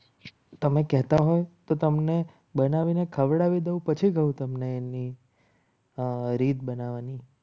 તમે કહેતા હોય તો તમને બનાવીને ખવડાવી દઉં પછી કહું તમને એની રીત બનાવવાની